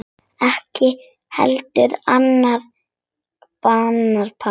Ekki heldur annarra barna pabbi.